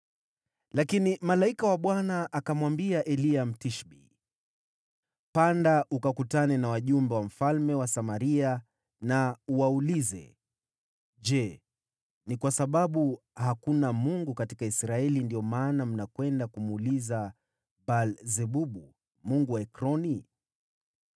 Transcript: Lakini malaika wa Bwana akamwambia Eliya, Mtishbi, “Panda ukakutane na wajumbe wa mfalme wa Samaria, uwaulize, ‘Je, ni kwa sababu hakuna Mungu katika Israeli ndiyo maana mnakwenda kumuuliza Baal-Zebubu, mungu wa Ekroni?’